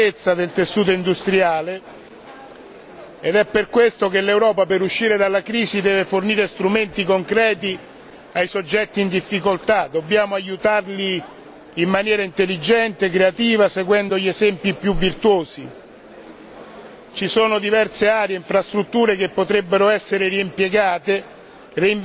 all'arretratezza del tessuto industriale ed è per questo che l'Europa per uscire dalla crisi deve fornire strumenti concreti ai soggetti in difficoltà, dobbiamo aiutarli in maniera intelligente, creativa, seguendo gli esempi più virtuosi. Ci sono diverse aree e infrastrutture che potrebbero essere reimpiegate,